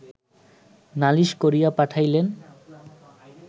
নালিশ করিয়া পাঠাইলেন